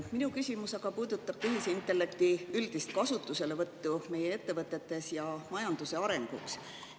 Minu küsimus aga puudutab tehisintellekti üldist kasutuselevõttu meie ettevõtetes ja majanduse arendamisel.